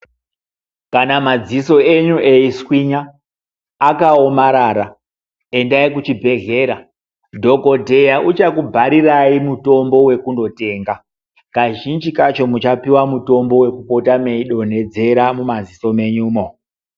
Kana madziso enyu eiswinya akaomarara endai kuchibhehlera dhokodheya uchakubharirai mutombo wekundotenga. Kazhinji kacho muchapiwa mutombo wekupota meidonhedzera mumaziso menyumo.